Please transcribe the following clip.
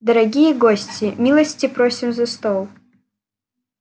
дорогие гости милости просим за стол